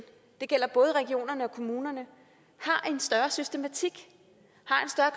det gælder både regionerne og kommunerne har en større systematik